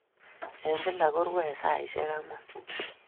Eng' kila korue saisyek ang'wan.